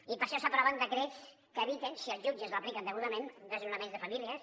i per això s’aproven decrets que eviten si els jutges l’apliquen degudament desnonaments de famílies